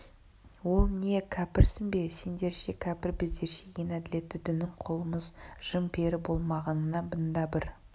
ол не кәпірсің бе сендерше кәпір біздерше ең әділетті діннің құлымыз жын-пері болмағаныңа мың да бір